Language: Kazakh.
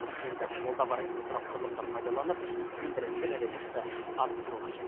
енді қолда бар инфрақұрылымды пайдаланып өндірістік әлеуетті арттыру қажет